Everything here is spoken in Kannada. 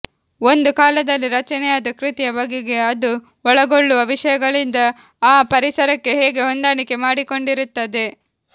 ಒಂದು ಕಾಲದಲ್ಲಿ ರಚನೆಯಾದ ಕೃತಿಯ ಬಗೆಗೆ ಅದು ಒಳಗೊಳ್ಳುವ ವಿಷಯಗಳಿಂದ ಆ ಪರಿಸರಕ್ಕೆ ಹೇಗೆ ಹೊಂದಾಣಿಕೆ ಮಾಡಿಕೊಂಡಿರುತ್ತದೆ